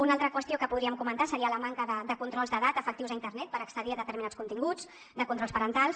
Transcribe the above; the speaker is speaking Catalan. una altra qüestió que podríem comentar seria la manca de controls d’edat efectius a internet per accedir a determinats continguts de controls parentals